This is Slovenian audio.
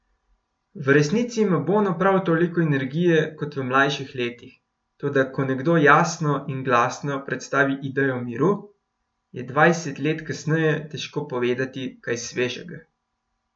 V resnici ima Bono prav toliko energije kot v mlajših letih, toda ko nekdo jasno in glasno predstavi idejo miru, je dvajset let kasneje težko povedati kaj svežega.